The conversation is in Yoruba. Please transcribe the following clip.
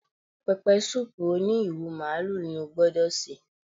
Pẹpẹsúùpù òní ìrù màlúù ni ó gbọ́dọ̀ sè